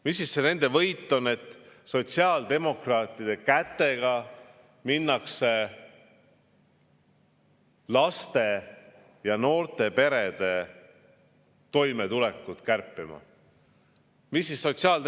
Mis see võit on, kui sotsiaaldemokraatide kätega minnakse laste ja noorte perede toimetulekut kärpima?